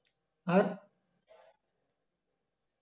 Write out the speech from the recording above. আর